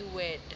iwed